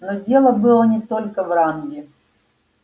но дело было не только в ранге